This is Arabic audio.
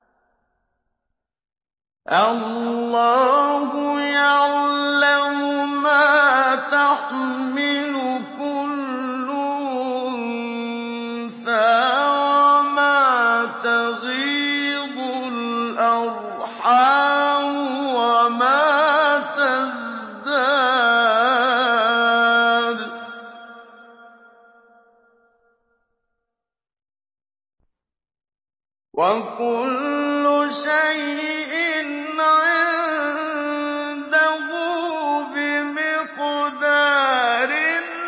اللَّهُ يَعْلَمُ مَا تَحْمِلُ كُلُّ أُنثَىٰ وَمَا تَغِيضُ الْأَرْحَامُ وَمَا تَزْدَادُ ۖ وَكُلُّ شَيْءٍ عِندَهُ بِمِقْدَارٍ